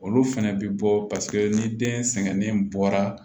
Olu fɛnɛ bi bɔ paseke ni den sɛgɛnnen bɔra